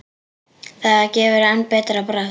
Það gefur enn betra bragð.